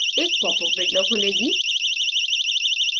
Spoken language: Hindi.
एक pop अप window खुलेगी